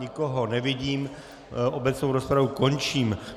Nikoho nevidím, obecnou rozpravu končím.